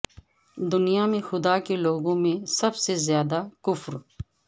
دنیا میں خدا کے لوگوں میں سب سے زیادہ کفر